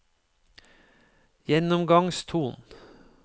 gjennomgangstonen